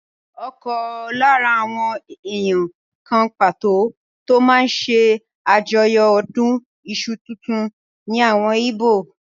Ọ̀kan lára àwọn èèyàn kan pàtó tó máa n ṣe àjọyọ̀ ọdún iṣu tuntun ní àwọn íbò